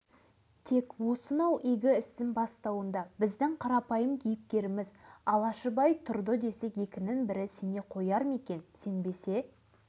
бүгінгі табыстарына жеңіл өнеркәсіпті дамыту арқылы жеткен екен сенбесін бұл ұрпақтан-ұрпаққа жететін өмір шындығы